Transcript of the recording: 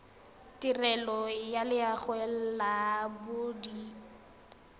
tirelo ya loago ya bodit